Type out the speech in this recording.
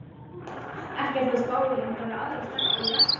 Ekki ertu að spá í einhverja aðra stelpu í Versló?